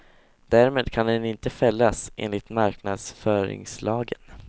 Därmed kan den inte fällas enligt marknadsföringslagen.